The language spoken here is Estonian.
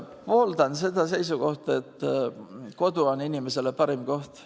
Pooldan seda seisukohta, et kodu on inimesele parim koht.